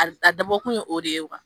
A dabɔ kun ye o de ye